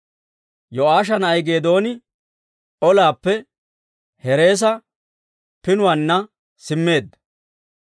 Yo'aasha na'ay Geedooni olaappe Hereesa Pinuwaanna simmeedda.